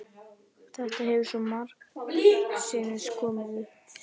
Þetta hefur svo margsinnis komið upp.